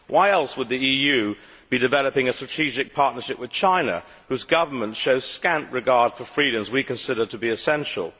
Why else would the EU be developing a strategic partnership with China, whose government shows scant regard for freedoms we consider to be essential?